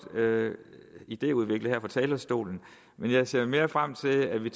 idéudvikle her fra talerstolen men jeg ser mere frem til at vi